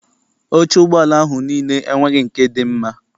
Oche ụgbọala ahụ niile enweghị nke dị mma.